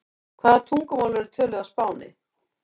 Hvaða tungumál eru töluð á Spáni?